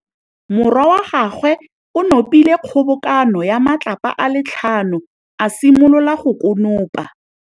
Morwa wa gagwe o nopile kgobokanô ya matlapa a le tlhano, a simolola go konopa.